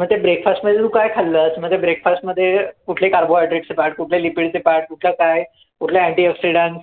म ते breakfast मध्ये तू काय खाल्लंस? म ते breakfast मध्ये कुठले carbohydrates चे part कुठले lipid चे part कुठलं काय कुठला antioxidant